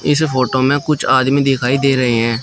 इस फोटो में कुछ आदमी दिखाई दे रहे हैं।